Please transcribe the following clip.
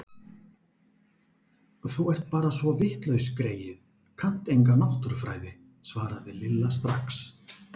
Þú ert bara svo vitlaus greyið, kannt enga náttúrufræði svaraði Lilla strax.